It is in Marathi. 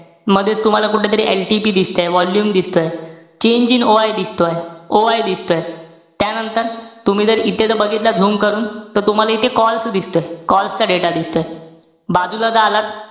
मधेच तुम्हाला कुठला तरी LTP दिसतंय, volume दिसतंय. change in OI दिसतोय. OI दिसतोय. त्यानंतर, तुम्ही जर इथे जर बघितलं zoom करून, त तुम्हाला इथे calls दिसतोय. calls चा data दिसतोय. बाजूला जर आलात,